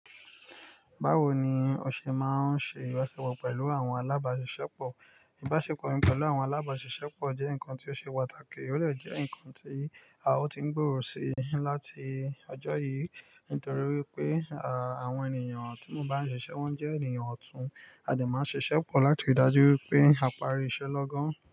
Báwo ni o ṣe máa ń ṣe ìbáṣepọ̀ pẹ̀lú àwọn alábáṣiṣẹ́ pọ̀? Ìbáṣepọ̀ mi pẹ̀lú àwọn alábáṣiṣẹ́ pọ̀ jẹ́ nǹkan tí ó ṣe pàtàkì, ó de jẹ́ nǹkan tí a ó ti ń gbòòrò sí láti ọjọ́ yìí nítorí wípé, àwọn ènìyàn tí mo bá ń ṣiṣẹ́ wọ́n jẹ́ ènìyàn ọ̀tún. A dè n máa ṣiṣẹ́ pọ̀ láti rii ìdájú wípé a parí iṣẹ́ lọ́gán.